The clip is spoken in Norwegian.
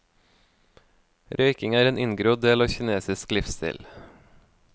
Røyking er en inngrodd del av kinesisk livsstil.